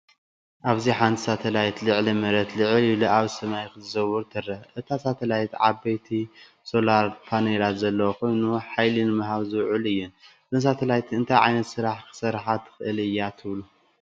ኣብዚ ሓንቲ ሳተላይት ልዕሊ መሬት ልዕል ኢሉ ኣብ ሰማይ ክትዘውር ትርአ። እታ ሳተላይት ዓበይቲ ሶላር ፓነላት ዘለዋ ኮይና፡ ሓይሊ ንምሃብ ዝውዕላ እየን። እዛ ሳተላይት እንታይ ዓይነት ስራሕ ክትሰርሕ ትኽእል እያ ትብሉ?